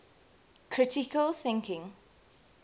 critical thinking